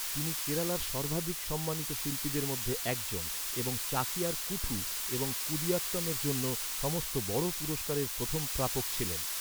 তিনি কেরালার সর্বাধিক সম্মানিত শিল্পীদের মধ্যে একজন এবং চাকিয়ার কুঠু এবং কুদিয়াত্তমের জন্য সমস্ত বড় পুরষ্কারের প্রথম প্রাপক ছিলেন।